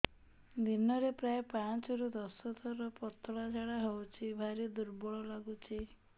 ଦିନରେ ପ୍ରାୟ ପାଞ୍ଚରୁ ଦଶ ଥର ପତଳା ଝାଡା ହଉଚି ଭାରି ଦୁର୍ବଳ ଲାଗୁଚି